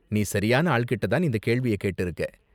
நீ சரியான ஆள்கிட்ட தான் இந்த கேள்விய கேட்டிருக்க.